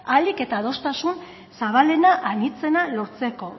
ahalik eta adostasun zabalena anitzena lortzeko